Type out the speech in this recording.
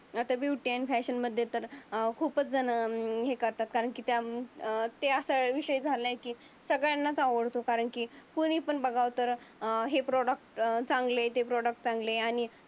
आता ब्युटी आणि फॅशन बद्दल तर अं खूपच जणहे करतात कारण की त्यामुळ ते असा विषय झाला की सगळ्यांना आवडतो. कारण की कोणी पण बघाव तर अं हे प्रॉडक्ट चांगले ते प्रॉडक्ट चांगले आहे.